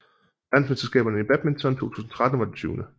Verdensmesterskaberne i badminton 2013 var det 20